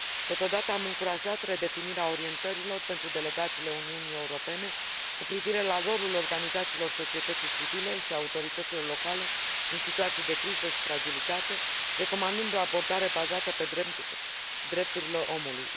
Totodată am încurajat redefinirea orientărilor pentru delegațiile Uniunii Europene cu privire la rolul organizațiilor societății civile și al autorităților locale în situații de criză și fragilitate, recomandând o abordare bazată pe drepturile omului.